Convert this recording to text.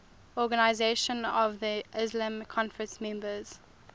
organisation of the islamic conference members